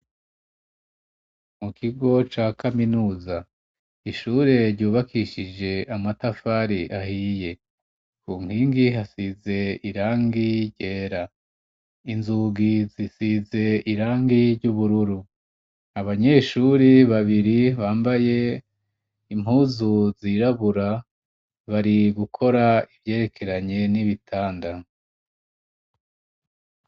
mu kigo ca kaminuza ishure ryubakishije amatafari ahiye ku nkingi hasize irangi yera inzugi zisize irangi ry'ubururu abanyeshuri babiri bambaye impuzu zirabura bari gukora ivyerekeranye n'ibitanda